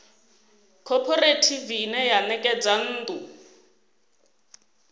khophorethivi ine ya ṋekedza nnḓu